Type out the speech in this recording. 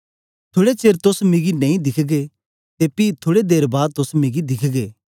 थुड़े चेर तोस मिगी नेई दिखगे ते पी थुड़े देर बाद तोस मिगी दिखगे